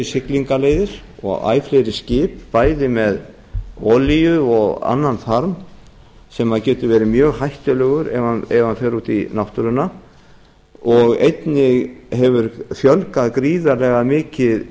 siglingaleiðir og æ fleiri skip bæði með olíu og annan farm sem getur verið mjög hættulegur ef hann fer út í náttúruna